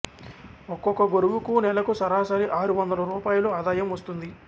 ఒక్కొక్క గురువుకూ నెలకు సరాసరి ఆరు వందల రూపాయలు ఆదాయం వస్తుంది